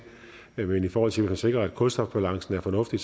men i forhold til at man sikrer at kulstofbalancen er fornuftig